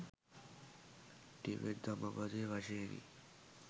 Tibet ධම්මපදය වශයෙනි.